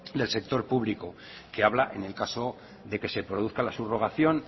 del sector público que habla en el caso de que se produzca la subrogación